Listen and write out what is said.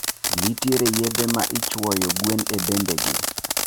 Ntiere yedhe maichuwoyo gwen e bembegi